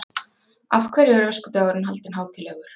Af hverju er öskudagurinn haldinn hátíðlegur?